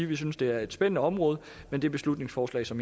vi synes det er et spændende område men det beslutningsforslag som